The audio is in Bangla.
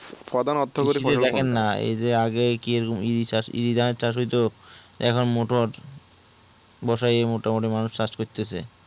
এই যে আগে কি এইরকম ই চাষ হতো এখন মোটর বছরে মোটামুটি এই চাষ করতেছে